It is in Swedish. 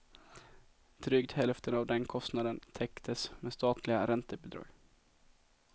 Drygt hälften av den kostnaden täcktes med statliga räntebidrag.